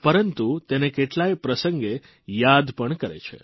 પરંતુ તેને કેટલાય પ્રસંગે યાદ પણ કરે છે